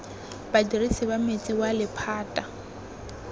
badirisi ba metsi wa lephata